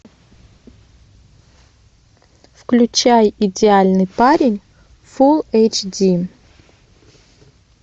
включай идеальный парень фул эйч ди